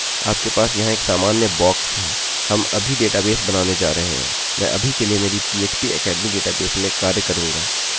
मैं अभी के लिए मेरी phpacademy डेटाबेस में कार्य करूँगा